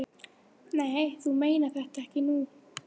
Nei, þú meinar þetta nú ekki.